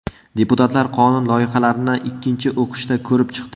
Deputatlar qonun loyihalarini ikkinchi o‘qishda ko‘rib chiqdi.